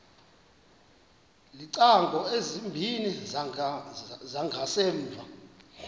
iingcango ezimbini zangasemva